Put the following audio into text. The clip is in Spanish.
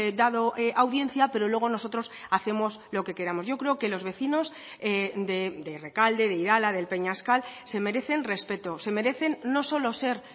dado audiencia pero luego nosotros hacemos lo que queramos yo creo que los vecinos de rekalde de irala del peñascal se merecen respeto se merecen no solo ser